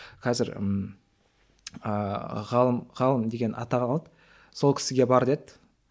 қазір ыыы ғалым ғалым деген атақ алған сол кісіге бар деді